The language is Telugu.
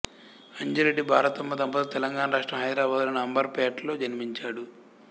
అంజిరెడ్డి భారతమ్మ దంపతులకు తెలంగాణ రాష్ట్రం హైదరాబాద్ లోని అంబర్ పేటలో జన్మించాడు